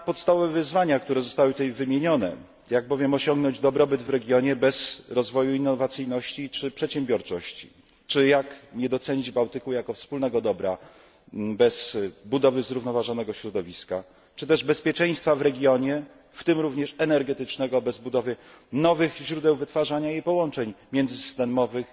na podstawowe wyzwania, które zostały tutaj wymienione, jak bowiem osiągnąć dobrobyt w regionie bez rozwoju innowacyjności czy przedsiębiorczości, czy jak nie docenić Bałtyku jako wspólnego dobra bez budowy zrównoważonego środowiska, czy też bezpieczeństwa w regionie, w tym również energetycznego bez budowy nowych źródeł wytwarzania i połączeń międzysystemowych.